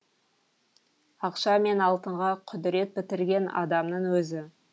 ақша мен алтынға құдірет бітірген адамның өзі